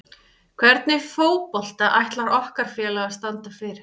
Hvernig fótbolta ætlar okkar félag að standa fyrir?